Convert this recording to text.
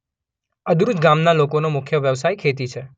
અદરૂજ ગામના લોકોનો મુખ્ય વ્યવસાય ખેતી છે.